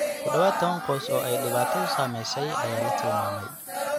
Ku dhawaad ​tawan qoys oo ay dhibaatadu saamaysay ayaa la tilmaamay.